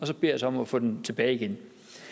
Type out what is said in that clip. så beder os om at få den tilbage igen